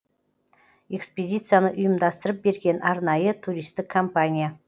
экспедицияны ұйымдастырып берген арнайы туристік компания